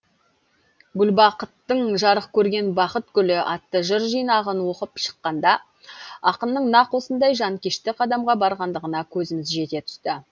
гүлбақыттың жарық көрген бақыт гүлі атты жыр жинағын оқып шыққанда ақынның нақ осындай жанкешті қадамға барғандығына көзіміз жете түсті